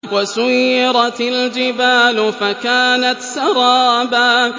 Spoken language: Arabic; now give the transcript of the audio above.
وَسُيِّرَتِ الْجِبَالُ فَكَانَتْ سَرَابًا